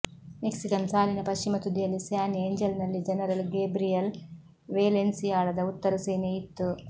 Mexican ಸಾಲಿನ ಪಶ್ಚಿಮ ತುದಿಯಲ್ಲಿ ಸ್ಯಾನ್ ಏಂಜೆಲ್ನಲ್ಲಿ ಜನರಲ್ ಗೇಬ್ರಿಯಲ್ ವೇಲೆನ್ಸಿಯಾಳದ ಉತ್ತರ ಸೇನೆಯು ಇತ್ತು